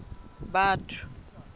batho